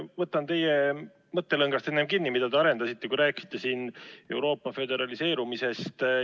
Võtan kinni teie mõttelõngast, mida te enne arendasite, kui rääkisite Euroopa föderaliseerumisest.